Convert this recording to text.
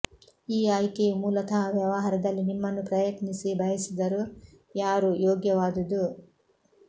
ಈ ಆಯ್ಕೆಯು ಮೂಲತಃ ವ್ಯವಹಾರದಲ್ಲಿ ನಿಮ್ಮನ್ನು ಪ್ರಯತ್ನಿಸಿ ಬಯಸಿದರು ಯಾರು ಯೋಗ್ಯವಾದುದು